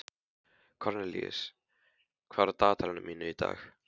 Kornelíus, hvað er á dagatalinu mínu í dag?